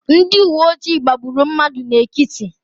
Ndị uwe ojii gbagburu mmadụ n'Ekiti.